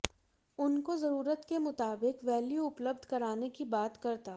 उनको जरूरत के मुताबिक वैल्यू उपलब्ध कराने की बात करता